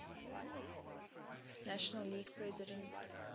national league president